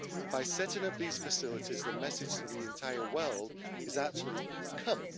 By setting up these facilities, the message to the entire world is actually come.